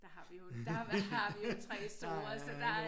Der har vi jo der har vi jo 3 store så der